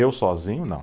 Eu sozinho, não.